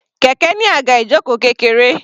Kẹ̀kẹ́ ní àga ìjoko kékeré.